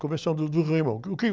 Convenção do, dos Rei Momos.